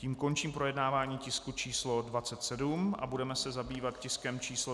Tím končím projednávání tisku č. 27 a budeme se zabývat tiskem číslo